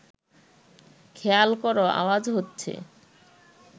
খেয়াল করো, আওয়াজ হচ্ছে